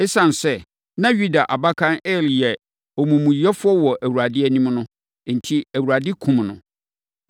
Esiane sɛ na Yuda abakan Er yɛ omumuyɛfoɔ wɔ Awurade anim no enti, Awurade kumm no.